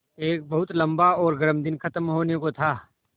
एक बहुत लम्बा और गर्म दिन ख़त्म होने को था